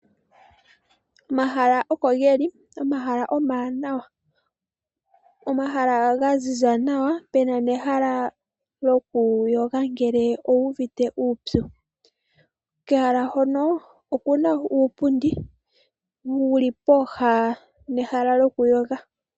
Omahala okogeli omawanawa. Omahala gaziza nawa puna nehala lyokuyoga ngele owu uuvite uupyu. Kehala hoka okuna uupundi wuli pooha nehala lyokuyoga.